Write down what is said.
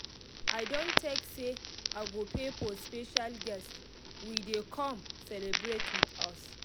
i don take say i go pay for special guest we dey come celebrate with us